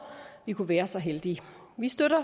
vi kunne være så heldige vi støtter